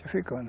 africano.